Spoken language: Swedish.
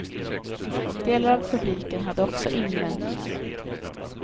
Delar av publiken hade också invändningar.